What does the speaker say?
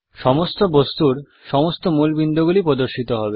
সমস্ত বস্তুর সমস্ত মূল বিন্দুগুলি প্রদর্শিত হবে